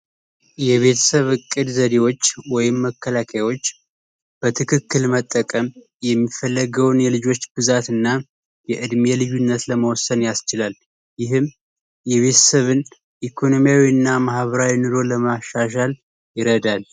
የቤተሰብ እቅድ ዘዴዎች ወይም መከላከያዎች በትክክል መጠቀም የሚፈለገውን የልጆች ብዛት እና የእድሜ ልዩነት ለመወሰን ያስችላል ይህም የቤትሰብን ኢኮኖሚያዊ እና ማህበራዊ ኑሮን ለመሻሻል ይረዳል።